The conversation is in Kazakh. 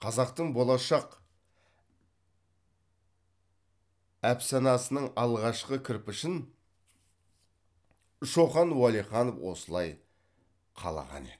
қазақтың болашақ әпсанасының алғашқы кірпішін шоқан уәлиханов осылай қалаған еді